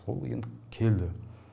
сол енді келді